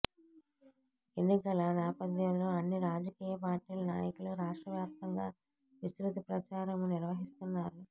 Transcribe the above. ఎన్నికల నేపథ్యంలో అన్ని రాజకీయ పార్టీల నాయకులు రాష్ట్రవ్యాప్తంగా విస్తృత ప్రచారం నిర్వహిస్తున్నారు